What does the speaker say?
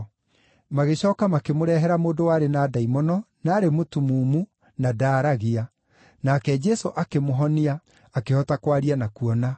Magĩcooka makĩmũrehera mũndũ warĩ na ndaimono, na aarĩ mũtumumu, na ndaaragia, nake Jesũ akĩmũhonia, akĩhota kwaria na kuona.